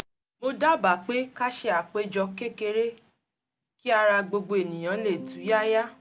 mo dábàá pé ká ṣe àpéjọ kékeré kí ara gbogbo èèyàn lè túyáyá